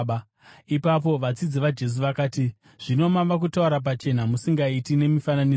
Ipapo vadzidzi vaJesu vakati, “Zvino mava kutaura pachena musingaiti nemifananidzo.